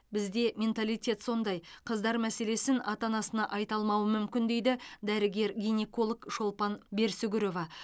бізде менталитет сондай қыздар мәселесін ата анасына айта алмауы мүмкін дейді дәрігер гинеколог шолпан берсүгірова